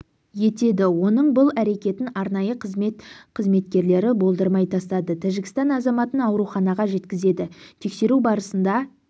етеді оның бұл әрекетін арнайы қызмет қызметкерлері болдырмай тастады тәжікстан азаматын ауруханаға жеткізеді тексеру барысында